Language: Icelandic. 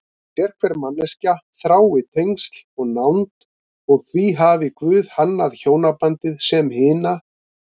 Sérhver manneskja þrái tengsl og nánd og því hafi Guð hannað hjónabandið sem hina